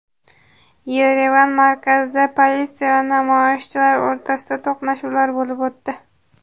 Yerevan markazida politsiya va namoyishchilar o‘rtasida to‘qnashuvlar bo‘lib o‘tdi.